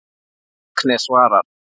Agnes svarar.